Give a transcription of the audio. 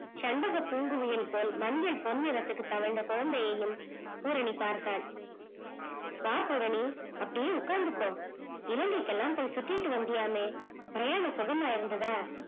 செண்பக பூங்குயில் போல் மஞ்சள் பொன் நிறத்துக்கு தவழந்த குழந்தையும் பூரணி பார்த்தால் வா பூரணி அப்படியே உக்காந்துக்கோ இலங்கைக்குலாம் போய் சுத்திட்டு வந்தியாமே பிரயாணம் சுகமா இருந்ததா